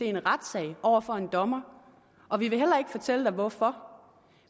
i en retssag over for en dommer og vi vil heller ikke fortælle dig hvorfor